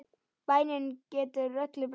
Bænin getur öllu breytt.